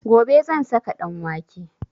Gobe zan saka ɗanwake